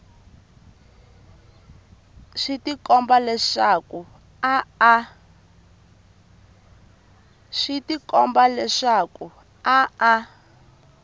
swi tikomba leswaku a a